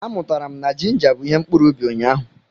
Amụtara m na jinja bụ ihe mkpuru ubi ụnyaahụ.